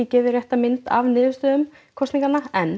rétta mynda af niðurstöðum kosninganna en